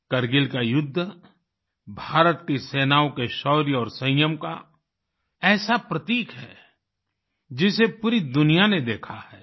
कारगिल का युद्ध भारत की सेनाओं के शौर्य और संयम का ऐसा प्रतीक है जिसे पूरी दुनिया ने देखा है